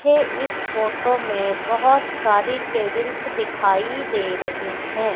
ये इस फोटो में बहोत सारी टेबल्स दिखाई दे रही है।